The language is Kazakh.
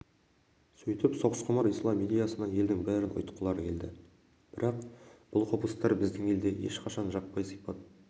сөйтіп соғысқұмар ислам идеясына елдің бәрін ұйытқылары келді бірақ бұл құбылыстар біздің елде ешқашан жаппай сипат